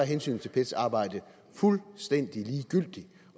hensynet til pets arbejde fuldstændig ligegyldigt